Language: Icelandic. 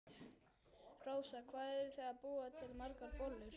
Rósa: Hvað eruð þið að búa til margar bollur?